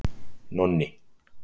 Nonni